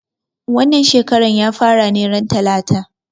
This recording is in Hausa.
Wannan shekaran ya fara ran talata